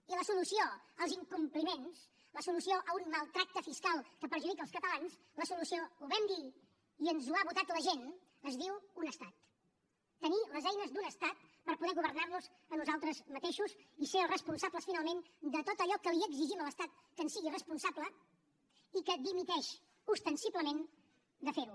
i la solució als incompliments la solució a un mal tracte fiscal que perjudica els catalans la solució ho vam dir i ens ho ha votat la gent es diu un estat tenir les eines d’un estat per poder governar nos a nosaltres mateixos i ser els responsables finalment de tot allò que li exigim a l’estat que en sigui responsable i que dimiteix ostensiblement de fer ho